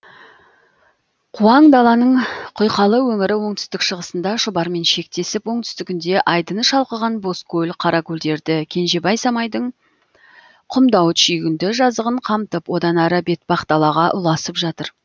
куаң даланың құйқалы өңірі оңтүстік шығысында шұбармен шектесіп оңтүстігінде айдыны шалқыған бозкөл қаракөлдерді кенжебай самайдың құмдауыт шүйгінді жазығын қамтып одан ары бетпақдалаға ұласып жатыр